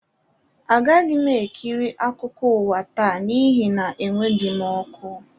Agaghị m ekiri akụkọ ụwa taa n'ihi na enweghị m ọkụ